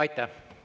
Aitäh!